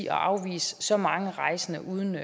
at afvise så mange rejsende uden